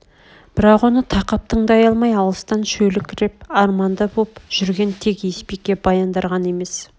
бірақ оны тақап тыңдай алмай алыстан шөліркеп арманды боп жүрген тек есбике баяндар ғана емес